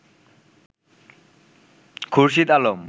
Khurshid Alam